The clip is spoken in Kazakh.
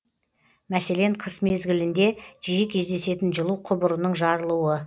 мәселен қыс мезгілінде жиі кездесетін жылу құбырының жарылуы